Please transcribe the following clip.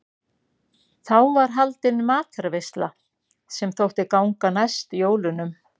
Þá var haldin matarveisla sem þótti ganga næst jólunum.